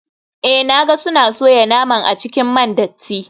Eh na ga suna soya naman a cikin man datti.